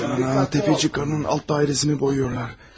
Ay, Təpəçik qadının alt dairesini boyayırlar.